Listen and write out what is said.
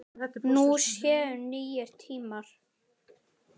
Nú séu nýir tímar.